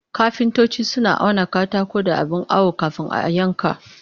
Kafintoci suna auna katako da abin awo kafin a yanka